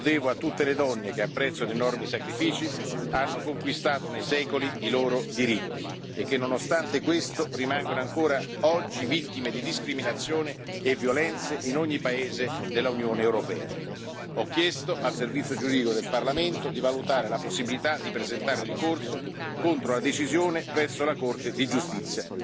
Lo devo a tutte le donne che, a prezzo di enormi sacrifici, hanno conquistato nei secoli i loro diritti e che, nonostante questo, rimangono ancora oggi vittime di discriminazioni e violenze in ogni paese dell'Unione europea. Ho chiesto al Servizio giuridico del Parlamento di valutare la possibilità di presentare ricorso contro la decisione presso la Corte di giustizia.